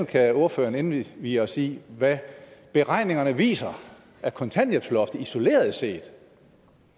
kan ordføreren indvie os i hvad beregningerne viser at kontanthjælpsloftet isoleret set